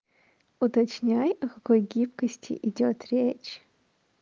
уточняй о какой гибкости идёт речь